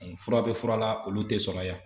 Fura bɛ fura la olu tɛ sɔrɔ yan.